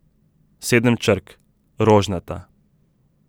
Sedem črk: 'rožnata'.